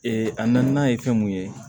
a naaninan ye fɛn mun ye